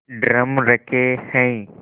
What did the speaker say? drum रखे हैं